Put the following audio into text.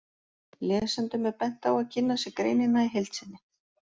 Lesendum er bent á að kynna sér greinina í heild sinni.